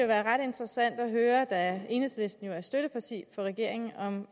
være ret interessant at høre da enhedslisten jo er støtteparti for regeringen om